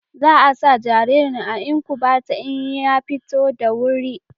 Za a sa jaririn a inkubata in ya fito da wuri